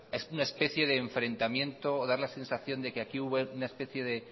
es una especie de enfrentamiento da la sensación de que aquí hubo una especie de